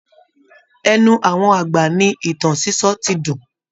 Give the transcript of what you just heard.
Ẹnu àwọn àgbà ni ìtàn sísọ ti dùn